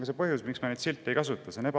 Ja see on põhjus, miks ma neid silte ei kasuta.